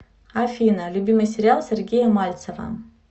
афина любимый сериал сергея мальцева